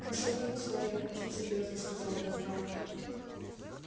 но с одним условием очень серьёзно сказал генерал